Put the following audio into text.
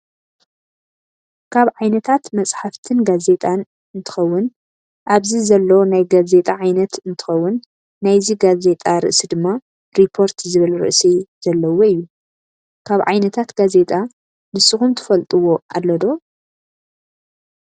ካብ ዓይነታት መፅሓፍትን ጋዜጣን እንተከውን ኣብዚ ዘሎ ናይ ጋዜጣ ዓይነት እንትከው ናይዚ ጋዜጣ ርእሲ ድማ ሪፖርት ዝብል ርእሲ ዘለዎ እዩ። ካብ ዓይነታት ጋዜጣ ንስኩም ትፈልጠዎ ኣሎ ዶ?